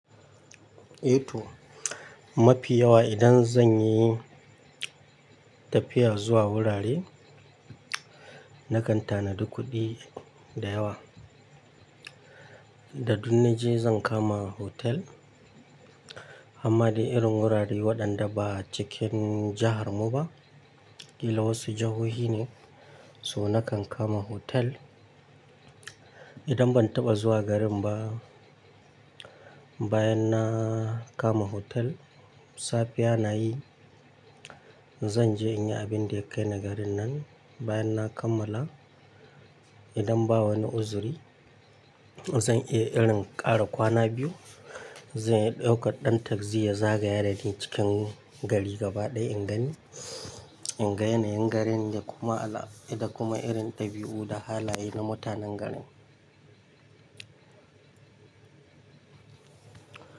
Eh to mafi yawa idan zan yi tafiya zuwa wurare, na kan tanadu kuɗi da yawa. Da du naje zan kama hotel, amma dai irin wurare waɗanda ba cikin jihar mu ba, killa wasu jihohi ne, so na kan kama hotel. Idan ban taɓa zuwa garin ba, bayan na kama hotel, safiya na yi, zan je in yi abin da ya kai na garin nan. Bayan na kammala, idan ba wani uzuri, zan iya irin ƙara kwana biyu. Zan iya ɗauka ɗan tagzi ya zagaya da ni cikin gari gaba ɗaya in gani, in gan yanayin garin da kuma ala-- da kuma irin ɗabi'u da halaye na mutanen garin.